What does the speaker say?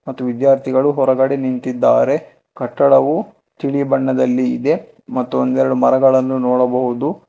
ಮತ್ತು ವಿದ್ಯಾರ್ಥಿಗಳು ಹೊರಗಡೆ ನಿಂತಿದ್ದಾರೆ ಕಟ್ಟಡವು ತಿಳಿ ಬಣ್ಣದಲ್ಲಿ ಇದೆ ಮತ್ತು ಒಂದೆರಡು ಮರಗಳನ್ನು ನೋಡಬಹುದು.